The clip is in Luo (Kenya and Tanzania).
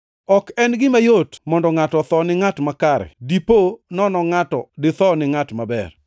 Ok en gima yot mondo ngʼato otho ni ngʼat makare; dipo nono ngʼato ditho ni ngʼat maber.